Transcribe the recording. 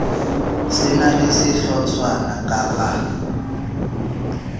se na le sehlotshwana kappa